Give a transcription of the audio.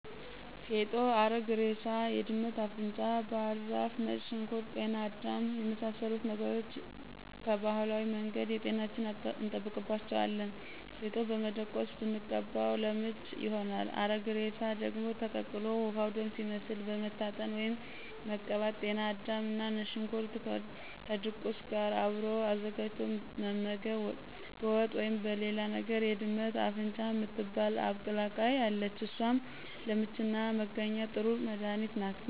ፌጦ፣ አረግ እሬሳ፣ የድመት አፍንጫ ባህር ዛፍ፣ ነጭ ሽንኩርት፣ ጤና አዳም እና የመሳሰሉት ነገሮች ቀባህላዊ መንገድ ጤናችንን እንጠብቅባቸዋለን። ፌጦ በመደቆስ ብንቀባው ለምች ይሆናል። አረግ እሬሳ ደግሞ ተቀቅሎ ውሀው ደም ሲመስል መታጠን ወይም መቀባት።። ጤና አዳምና ነጭ ሽንኩርት ከድቁስ ጋር አብሮ አዘጋጅቶ መመገብ በወጥ ወይም በሌላ ነገር። የድመት አፍንጫ ምትባል አብቀላቅይ አለች እሷም ለምችና መጋኛ ጥሩ መድኃኒት ናት።